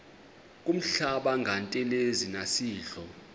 kuhlamba ngantelezi nasidlo